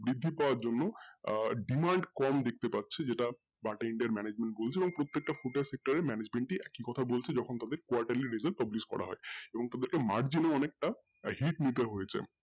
বৃদ্ধি পাওয়ার জন্য আহ demand কম দেখতে পাচ্ছি যেটা বাটা India management বলতে এবং প্রত্যেকটা footwear sector এ management ই একই কথা বলছে যখন তাদের quarterly result published করা হয এবং তাদের margin এর অনেকটা hit নিতে হযেছে